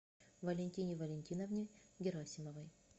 валентине валентиновне герасимовой